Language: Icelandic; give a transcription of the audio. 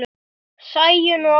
Sæunn og Ásgeir.